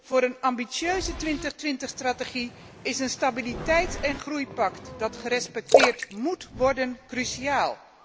Voor een ambitieuze 2020 strategie is een Stabiliteits en groeipact dat gerespecteerd móet worden, cruciaal.